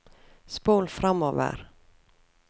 spol framover